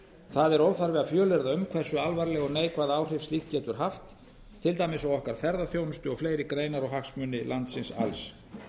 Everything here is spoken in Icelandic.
það er óþarfi að fjölyrða um hversu alvarleg og neikvæð áhrif slíkt getur haft til dæmis á okkar ferðaþjónustu og fleiri greinar og hagsmuni landsins alls